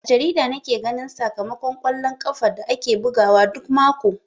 A jarida nake ganin sakamakon kwallon ƙafa da ake bugawa duk mako.